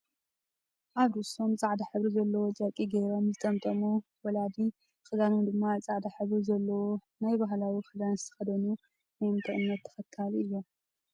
ኣብ ርእሶም ፃዕዳ ሕብሪ ዘለዎ ጨርቂ ገይሮ ዝጠመጠሙ ወላዲ ክዳኖም ድማ ፃዕዳ ሕበሪ ዘለዎ ናይ ባህላዊ ክዳን ዝተከደኑ ናይ እንታይ እምነት ተከታሊ እዮም ?